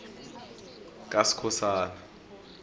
kaskhosana